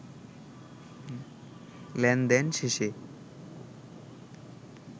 লেনদেন শেষে